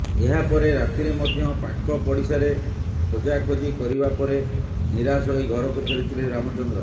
ଏହାପରେ ରାତିରେ ମଧ୍ୟ ପାଖ ପଡିସାରେ ଖୋଜା ଖୋଜି କରିବାପରେ ନିରାସ ହୋଇ ଘରକୁ ଫେରିଥିଲେ ରାମଚନ୍ଦ୍ର